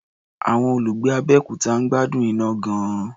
Àwọn olùgbé Abẹ́òkuta ń gbádùn iná gan-an.